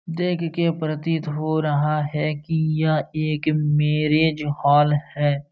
देख के प्रतीत हो रहा है की यह एक मैंरिज हॉल है।